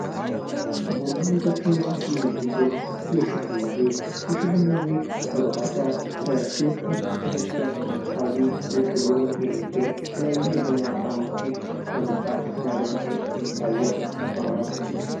ቡና ቤቶችና ምግብ ቤቶች የሺ ቡና ቤት የሺ ቡና ቤት በባህር ዳር በጊዮርጊስ ቤተክርስቲያን አካባቢ ዝቅብሎ የሚገኝ የተለያዩ የቡናችን ጣእሞችን በመሠራትና በመሸጥ የሚታወቅ ስፍራ ነው።